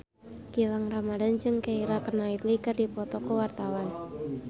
Gilang Ramadan jeung Keira Knightley keur dipoto ku wartawan